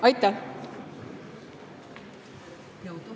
Aitäh!